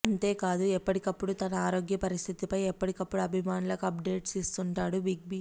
అంతేకాదు ఎప్పటికప్పుడూ తన ఆరోగ్య పరిస్థితిపై ఎప్పటికప్పుడు అభిమానులకు అప్డేట్స్ ఇస్తుంటాడు బిగ్ బీ